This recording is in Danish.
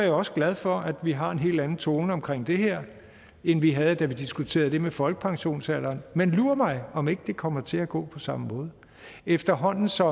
jo også glad for at vi har en helt anden tone omkring det her end vi havde da vi diskuterede det med folkepensionsalderen men lur mig om ikke det kommer til at gå på samme måde efterhånden som